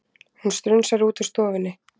Hún strunsar út úr stofunni.